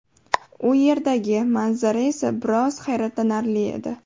U yerdagi manzara esa biroz hayratlanarli edi.